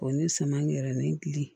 O ni suman yɛrɛ ni gili